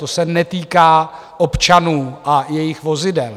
To se netýká občanů a jejich vozidel.